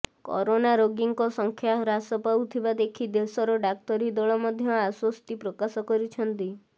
corona ରୋଗୀଙ୍କ ସଂଖ୍ୟା ହ୍ରାସ ପାଉଥିବା ଦେଖି ଦେଶର ଡାକ୍ତରୀ ଦଳ ମଧ୍ୟ ଆଶ୍ବସ୍ତି ପ୍ରକାଶ କରିଛନ୍ତି